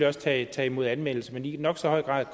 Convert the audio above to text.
også tage imod anmeldelser men i nok så høj grad